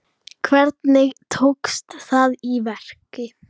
Hvernig tókst það í verki?